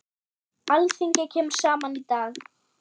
Alþingi kemur saman í dag.